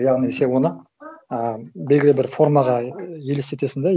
яғни сен оны і белгілі бір формаға елестетесің да